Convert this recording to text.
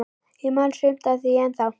Ég man sumt af því ennþá.